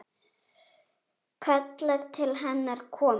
Kallar til hennar að koma.